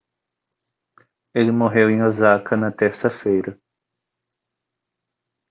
ele morreu em osaka na terça-feira